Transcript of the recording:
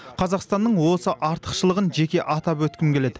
қазақстанның осы артықшылығын жеке атап өткім келеді